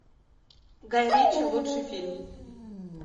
гай ричи лучший фильм